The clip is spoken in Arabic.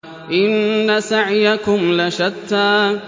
إِنَّ سَعْيَكُمْ لَشَتَّىٰ